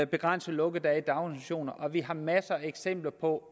begrænse lukkedage i daginstitutioner vi har masser af eksempler på